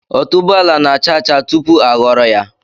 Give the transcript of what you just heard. Otuboala na-acha acha tupu a ghọrọ ya